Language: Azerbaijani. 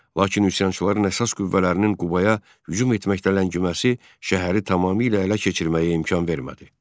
Lakin üsyançıların əsas qüvvələrinin Qubaya hücum etməkdə ləngiməsi şəhəri tamamilə ələ keçirməyə imkan vermədi.